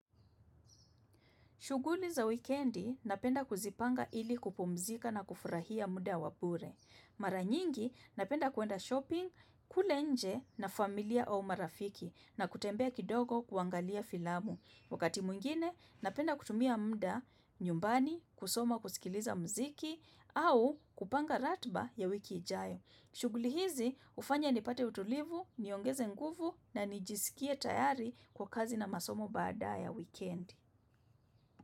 Shughuli za wikendi napenda kuzipanga ili kupumzika na kufurahia muda wa bure. Mara nyingi napenda kwenda shopping, kula nje na familia au marafiki na kutembea kidogo kuangalia filamu. Wakati mwingine napenda kutumia muda nyumbani, kusoma kusikiliza mziki au kupanga ratiba ya wiki ijayo. Shuguli hizi hufanya nipate utulivu, niongeze nguvu na nijisikie tayari kwa kazi na masomo baada ya wikendi.